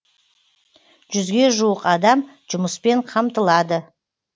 жүзге жуық адам жұмыспен қамтылады